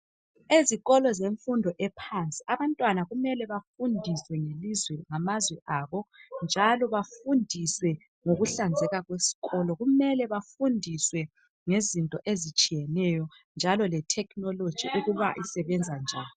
Ezikolo zemfundo ephansi, abantwana kumele bafundiswe ngamazwe abo njalo bafundiswe ngokuhlanzeka kwesikolo. Kumele bafundiswe ngezinto ezitshiyeneyo njalo nge technology ukuba isebenza njani.